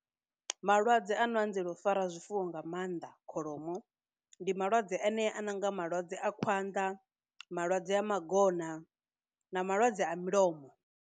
Malwadze ano anzela u fara zwifuwo nga maanḓa kholomo ndi malwadze anea a nonga malwadze a khwanda, malwadze a magona na malwadze a mulomo.